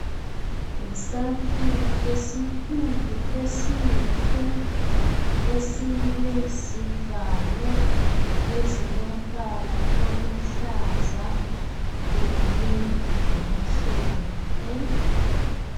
Yisakhiwo esikhulu esihle esilezivalo ezilombala oluhlaza kanye lomhlophe.